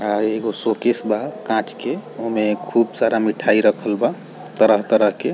आ एगो शोकेस बा काँच के उमे खूब सारा मिठाई रखल बा तरह तरह के |